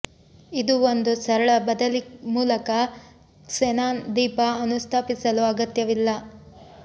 ಇದು ಒಂದು ಸರಳ ಬದಲಿ ಮೂಲಕ ಕ್ಸೆನಾನ್ ದೀಪ ಅನುಸ್ಥಾಪಿಸಲು ಅಗತ್ಯವಿಲ್ಲ